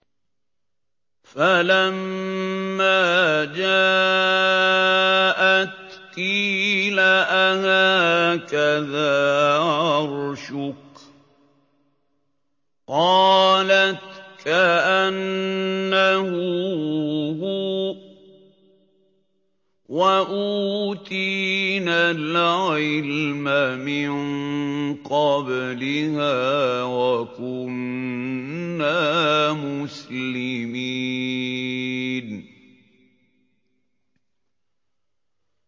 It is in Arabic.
فَلَمَّا جَاءَتْ قِيلَ أَهَٰكَذَا عَرْشُكِ ۖ قَالَتْ كَأَنَّهُ هُوَ ۚ وَأُوتِينَا الْعِلْمَ مِن قَبْلِهَا وَكُنَّا مُسْلِمِينَ